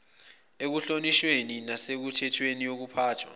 ekuhlonishweni nasemithethweni yokuphathwa